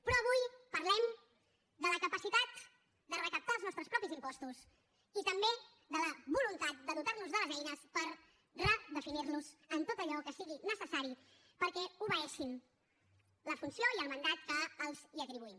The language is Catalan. però avui parlem de la capacitat de recaptar els nostres propis impostos i també de la voluntat de dotar nos de les eines per redefinir los en tot allò que sigui necessari perquè obeeixin la funció i el mandat que els atribuïm